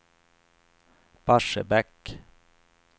Barsebäck